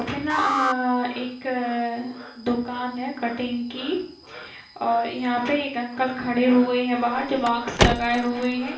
पे ना अ-एक अअ दुकान है कटिंग की और यहाँ पे एक अंकल खड़े हुए हैं बाहर जो मास्क लगाए हुए हैं।